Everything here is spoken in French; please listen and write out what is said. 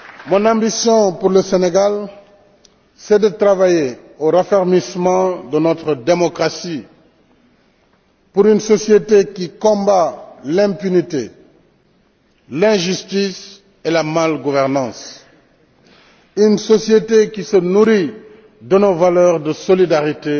Mon ambition pour le Sénégal, c'est de travailler au raffermissement de notre démocratie, pour une société qui combat l'impunité, l'injustice et la mal gouvernance, une société qui se nourrit de nos valeurs de solidarité